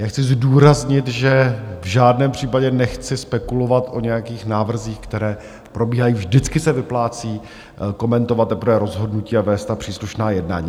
Já chci zdůraznit, že v žádném případě nechci spekulovat o nějakých návrzích, které probíhají, vždycky se vyplácí komentovat teprve rozhodnutí a vést ta příslušná jednání.